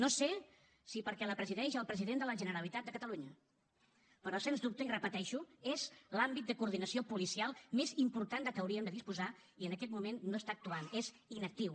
no sé si perquè la presideix el president de la generalitat de catalunya però sens dubte i ho repeteixo és l’àmbit de coordinació policial més important de què hauríem de disposar i en aquest moment no està actuant és inactiu